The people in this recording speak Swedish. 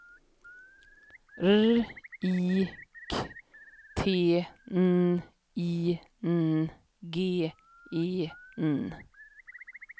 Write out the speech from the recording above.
R I K T N I N G E N